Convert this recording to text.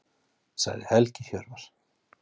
Sagði Helgi Hjörvar.